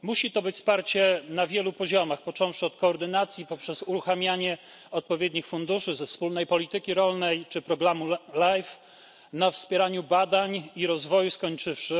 Musi to być wsparcie na wielu poziomach, począwszy od koordynacji poprzez uruchamianie odpowiednich funduszy ze wspólnej polityki rolnej czy programu Life, na wspieraniu badań i rozwoju skończywszy.